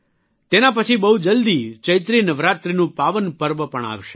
તેના પછી બહુ જલદી ચૈત્રી નવરાત્રિનું પાવન પર્વ પણ આવશે